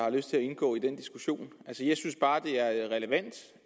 har lyst til at indgå i den diskussion jeg synes bare det er relevant